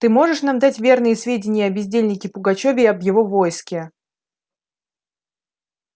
ты можешь нам дать верные сведения о бездельнике пугачёве и об его войске